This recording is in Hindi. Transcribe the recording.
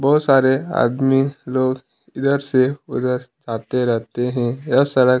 बहुत सारे आदमी लोग इधर से उधर आते रहते है यह सड़क--